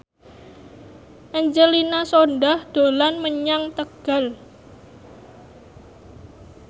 Angelina Sondakh dolan menyang Tegal